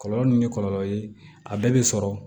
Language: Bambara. Kɔlɔlɔ ni kɔlɔlɔ ye a bɛɛ bɛ sɔrɔ